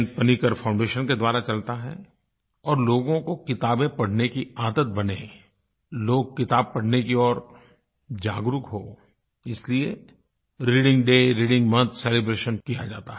Panicker foundation के द्वारा चलता है और लोगों को किताबें पढ़ने की आदत बने लोग किताब पढ़ने की ओर जागरूक हों इसलिये reading day reading month celebration किया जाता है